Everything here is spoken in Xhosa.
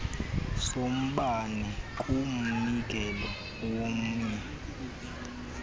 sombane kumnikelo womnye